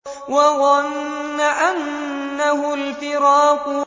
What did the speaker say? وَظَنَّ أَنَّهُ الْفِرَاقُ